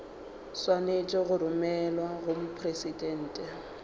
swanetše go romelwa go mopresidente